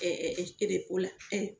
o la,